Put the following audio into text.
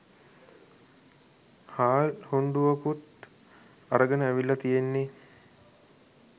හාල් හුණ්ඩුවකුත් අරගෙන ඇවිල්ලා තියෙන්නෙ.